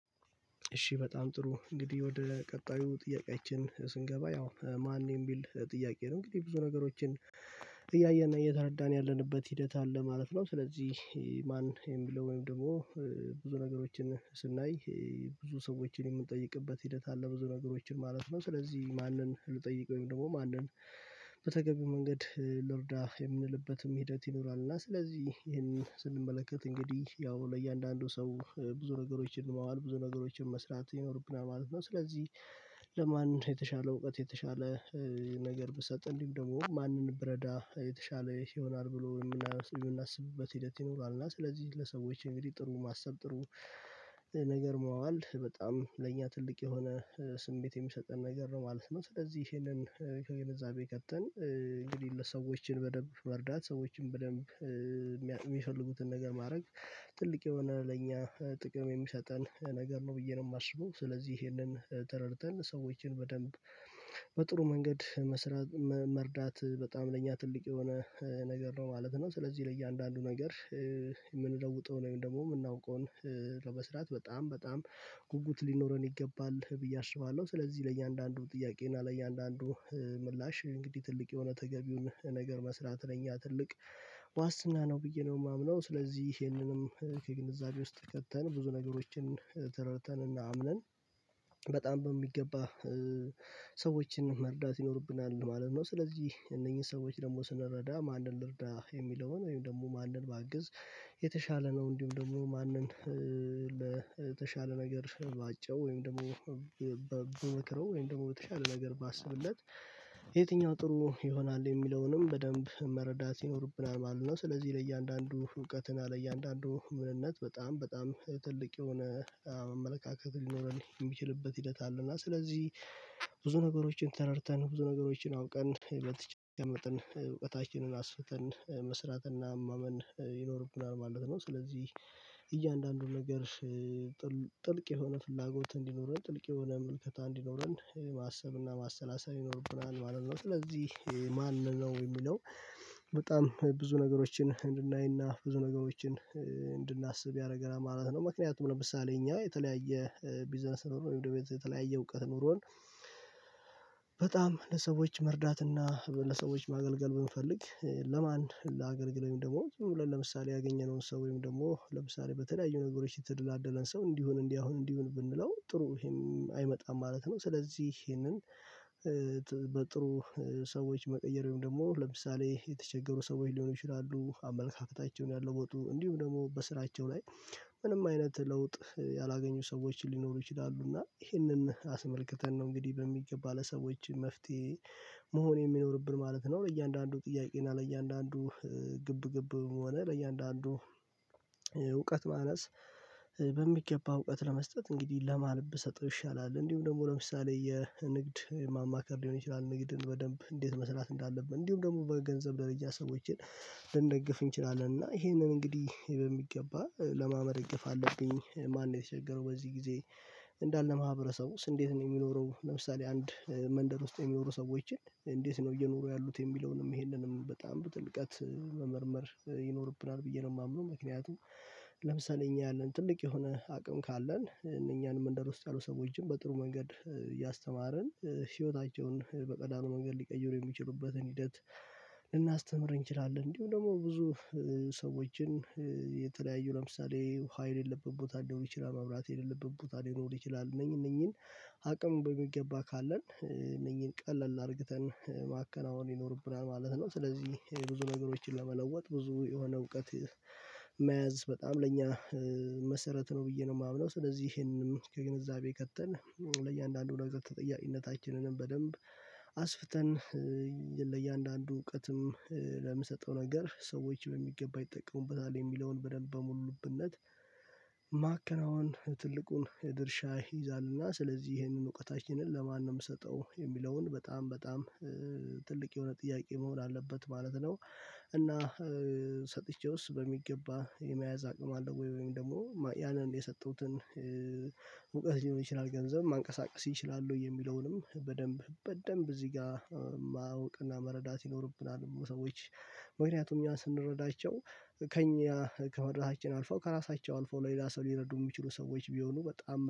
እሺ በጣም ጥሩ እንግዲህ ወደ ቀጣዩ ጥያቄያችን ስንገባ ያው ማን የሚል ጥያቄ ነው እንግዲህ ብዙ ነገሮችን እያየን እየተረዳን ያለንበት ሂደት አለ ማለት ነው። ስለዚህ ማን የሚለው ወይም ደግሞ ብዙ ነገሮችን ስናይ ብዙ ሰዎችን የምንጠይቅበት ሂደት አለ ብዙ ነገሮችን ማለት ነው ስለዚህ ማንን ልጠይቅ ወይም ደግሞ ማንን በተገቢው መንገድ ልርዳ የምንልበትም ሂደት ይኖራል። እና ስለዚህ ይሄን ስንመለከት እንግዲህ ያው ለእያንዳንዱ ሰው ብዙ ነገሮችን ማዋል ብዙ ነገሮችን መስራት ይኖርብናል ማለት ነው። ስለዚህ ለማን የተሻለ እውቀት የተሻለ ነገር ብሰጥ እንዲህም ደግሞ ማንን ብረዳ የተሻለ ይሆናል ብሎ የምናስብበት ሂደት ይኖራል። እና ስለዚህ ለሰዎች እንግዲህ ጥሩ ማሰብ ጥሩ ነገር ማዋል በጣም ለእኛ ትልቅ የሆነ ስሜት የሚሰጠን ነገር ነው ማለት ነው። ስለዚህ ይሄንን ከገነዛቤ ከተን እንግዲህ ለሰዎችን በደንብ መርዳት ሰዎችን በደንብ የሚፈልጉትን ነገር ማድረግ ትልቅ የሆነ ለእኛ ጥቅም የሚሰጠን ነገር ነው ብዬ ነው የማስበው። ስለዚህ ይሄንን ተረድተን ሰዎችን በደንብ በጥሩ መንገድ መስራት መርዳት በጣም ለእኛ ትልቅ የሆነ ነገር ነው ማለት ነው። ስለዚህ ለእያንዳንዱ ነገር የምንለውጠው ወይም ደግሞ የምናውቀውን ለመስራት በጣም በጣም ጉጉት ሊኖረን ይገባል ብዬ አስባለሁ። ስለዚህ ለእያንዳንዱ ጥያቄ እና ለእያንዳንዱ ምላሽ እንግዲህ ትልቅ የሆነ ተገቢውን ነገር መስራት ለኛ ትልቅ ዋስትና ነው ብዬ ነው የማምነው። ስለዚህ ይሄንንም ከግንዛቤ ውስጥ ከተን ብዙ ነገሮችን ተረድተን እና አምነን በጣም በሚገባ ሰዎችን መርዳት ይኖርብናል ማለት ነው። ስለዚህ እነኚህን ሰዎች ደግሞ ስንረዳ ማንን ልርዳ የሚለውን ወይም ደግሞ ማንን ባግዝ የተሻለ ነው። እንዲሁም ደግሞ ማንን ለተሻለ ነገር ባጨው ወይም ደግሞ ብመክረው ወይም ደግሞ የተሻለ ነገር ባስብለት የትኛው ጥሩ ይሆናል የሚለውንም በደንብ መረዳት ይኖርብናል ማለት ነው። ስለዚህ ለእያንዳንዱ እውቀት እና ለእያንዳንዱ ምንነት በጣም በጣም ትልቅ የሆነ አመለካከት ሊኖረን የሚችልበት ሂደት አለና ስለዚህ ብዙ ነገሮችን ተረድተን ብዙ ነገሮችን አውቀን በተቻለ መጠን እውቀታችንን አስፍተን መስራትና ማመን ይኖርብናል ማለት ነው። ስለዚህ እያንዳንዱን ነገር ጥልቅ የሆነ ፍላጎት እንዲኖረን ጥልቅ የሆነ ምልከታ እንዲኖረን ማሰብና ማሰላሰብ ይኖርብናል ማለት ነው። ስለዚህ ማንነው የሚለው በጣም ብዙ ነገሮችን እንድናይና ብዙ ነገሮችን እንድናስብ ያደረገናል ማለት ነው። ምክንያቱም ለምሳሌ እኛ የተለያየ ቢዝነስ ነው ኖሮ ወይም ደግሞ የተለያየ እውቀት ኖሮን በጣም ለሰዎች መርዳትና ለሰዎች ማገልገል ብንፈልግ ለማን ላገልግል ወይም ደግሞ ዝም ብለን ለምሳሌ ያገኘነውን ሰው ወይም ደግሞ ለምሳሌ በተለያዩ ነገሮች የተደላደለን ሰው እንዲህ ሁን እንዲያ ሁን እንዲህ ብንለው ጥሩ ይሄም አይመጣም ማለት ነው። ስለዚህ ይሄንን በጥሩ ሰዎች መቀየር ወይም ደግሞ ለምሳሌ የተቸገሩ ሰዎች ሊሆኑ ይችላሉ አመለካከታቸውን ያለወጡ እንዲሁም ደግሞ በስራቸው ላይ ምንም አይነት ለውጥ ያላገኙ ሰዎችን ሊኖሩ ይችላሉ እና ይሄንን አስመልክተን ነው እንግዲህ በሚገባ ለሰዎች መፍትሄ መሆን የሚኖርብን ማለት ነው። ለእያንዳንዱ ጥያቄ እና ለእያንዳንዱ ግብ ግብ ሆን ለእያንዳንዱ እውቀት ማነስ በሚገባ እውቀት ለመስጠት እንግዲህ ለማ ብሰጥው ይሻላል እንዲሁም ደግሞ ለምሳሌ የንግድ ማማከር ሊሆን ይችላል ንግድን በደንብ እንዴት መሰራት እንዳለብን እንዲሁም ደግሞ በገንዘብ ደረጃ ሰዎችን ልንደግፍ እንችላለን። እና ይሄንን እንግዲህ በሚገባ ለማ መደገፍ አለብኝ ማን ነው የተቸገረው በዚህ ጊዜ እንዳለ ማህበረሰቡ እንዴት ነው የሚኖረው ለምሳሌ አንድ መንደር ውስጥ የሚኖሩ ሰዎችን እንዴት ነው እየኖሩ ያሉት የሚለውንም ይሄንንም በጣም በጥልቀት መመርመር ይኖርብናል ብዬ ነው የማምነው። ምክንያቱም ለምሳሌ እኛ ያለን ትልቅ የሆነ አቅም ካለን እነኛንም መንደር ውስጥ ያሉ ሰዎችን በጥሩ መንገድ እያስተማረን ህይወታቸውን በቀላሉ መንገድ ሊቀይሩ የሚችሉበትን ሂደት ልናስተምር እንችላለን እንዲሁም ደግሞ ብዙ ሰዎችን የተለያዩ ለምሳሌ ዉሃ የሌለበት ቦታ ሊኖር ይችላል መብራት የሌለበት ቦታ ሊኖር ይችላል እነኚህ እነኚህን አቅም በሚገባ ካለን እነኚህን ቀለል አድርግተን ማከናወን ይኖርብናል ማለት ነው። ስለዚህ ብዙ ነገሮችን ለመለወጥ ብዙ የሆነ እውቀት መያዝ በጣም ለእኛ መሰረት ነው ብዬ ነው የማምነው። ስለዚህ ይሄንንም ከግንዛቤ ከተን ለእያንዳንዱ ነገር ተጠያቂነታችንንም በደንብ አስፍተን ለእያንዳንዱ እውቀትም ለምሰጠው ነገር ሰዎች በሚገባ ይጠቀሙበታል የሚለውን በደንብ በሙሉ ልብነት ማከናወን ትልቁን የድርሻ ይይዛልና። ስለዚህ ይሄንን እውቀታችንን ለማን ነው የምሰጠው የሚለውን በጣም በጣም ትልቅ የሆነ ጥያቄ መሆን አለበት ማለት ነው። እና ሰጥቼውስ በሚገባ የመያዝ አቅም አለው ወይም ደግሞ ያንን የሰጠሁትን ሙቀት ሊሆን ይችላል ገንዘብ ማንቀሳቀስ ይችላል ወይ የሚለውንም በደንብ በደንብ እዚህ ጋ ማወቅና መረዳት ይኖርብናል። ሰዎች ምክንያቱም እኛ ስንረዳቸው ከእኛ ከመርዳታቸው አልፈው ከራሳቸው አልፈው ለሌላ ሰው ሊረዱ የሚችሉ ሰዎች ቢሆኑ በጣም